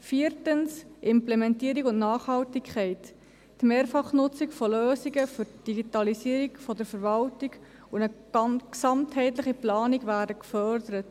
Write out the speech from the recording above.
Viertens, Implementierung und Nachhaltigkeit: Die Mehrfachnutzung von Lösungen zur Digitalisierung der Verwaltung und eine gesamtheitliche Planung werden gefördert.